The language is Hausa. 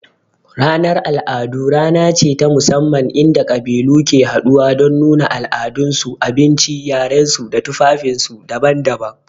Ranar al'adu rana ce ta musamman inda ƙabilu ke haɗuwa don nuna al'adunsu, abinci, yarensu da tufafinsu daban-daban.